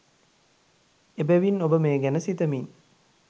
එබැවින්, ඔබ මේ ගැන සිතමින්